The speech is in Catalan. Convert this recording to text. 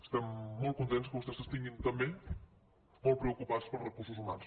estem molt contents que vostès estiguin també molt preocupats pels recursos humans